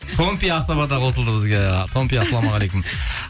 томпи асаба да қосылды бізге томпи ассалаумағалейкум